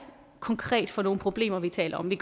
konkret er for nogle problemer vi taler om vi